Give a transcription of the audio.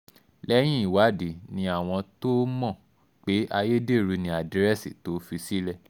lẹ́yìn ìwádìí ni àwọn tóo mọ̀ pé ayédèrú ni àdírẹ́sì tó fi sílẹ̀